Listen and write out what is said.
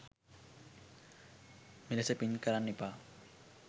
මෙලෙස පින් කරන්න එපා